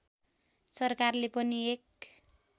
सरकारले पनि एक